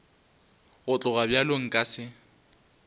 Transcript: go tloga bjalo nka se